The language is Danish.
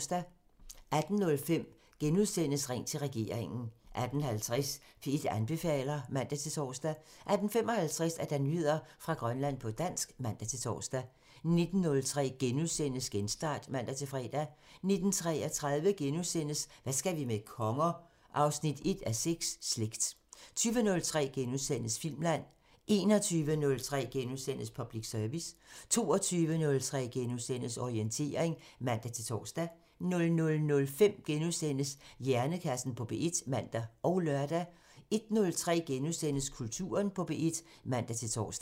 18:05: Ring til regeringen *(man) 18:50: P1 anbefaler (man-tor) 18:55: Nyheder fra Grønland på dansk (man-tor) 19:03: Genstart *(man-fre) 19:33: Hvad skal vi med konger? 1:6 – Slægt * 20:03: Filmland *(man) 21:03: Public Service *(man) 22:03: Orientering *(man-tor) 00:05: Hjernekassen på P1 *(man og lør) 01:03: Kulturen på P1 *(man-tor)